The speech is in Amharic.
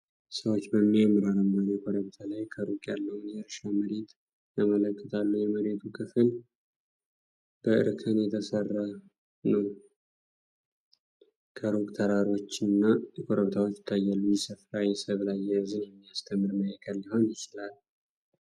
ሰዎች በሚያምር አረንጓዴ ኮረብታ ላይ ከሩቅ ያለውን የእርሻ መሬት ይመለከታሉ። የመሬቱ ክፍል በእርከን የተሠራ ነው። ከሩቅ ተራራዎችና ኮረብታዎች ይታያሉ። ይህ ስፍራ የሰብል አያያዝን የሚያስተምር ማዕከል ሊሆን ይችላል?